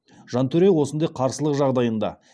жантөре осындай қарсылық жағдайында